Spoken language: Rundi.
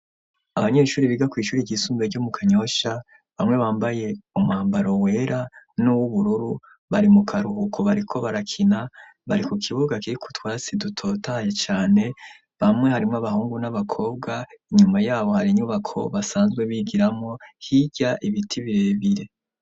abanyeshuri biga ku ishuri ry'isumbuye ryo mu kanyoshya bamwe bambaye umwambaro wera n'uw'ubururu bari mu karuhuko bariko barakina bari ku kibuga kiriko utwatsi dutotahaye Cane bamwe harimo abahungu n'abakobwa inyuma yabo hari inyubako basanzwe bigiramo hirya ibiti birebire.